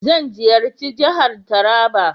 Zan ziyarci jihar Taraba.